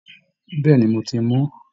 Bẹ́ẹ̀ ni, mo ti mú